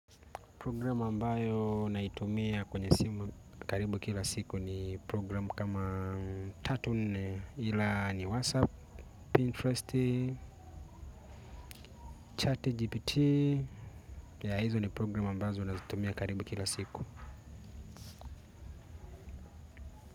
Program ambayo naitumia kwenye simu karibu kila siku ni program kama tatu nne ila ni whatsapp, pinterest, chatgpt yea hizo ni program ambazo naxitumia karibu kila siku.